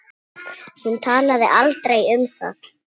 Hún talaði aldrei um það.